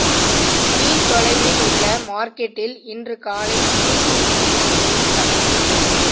me தொலைவில் உள்ள மார்க்கெட்டில் இன்று காலை தூக்கில் தொங்கிய நிலையில் சடலமாக